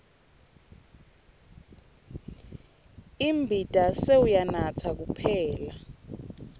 imbita sewuyanatsa kuyaphela